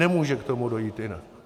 Nemůže k tomu dojít jinak.